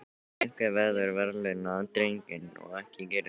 Einhver verður að verðlauna drenginn og ekki gerir þú það.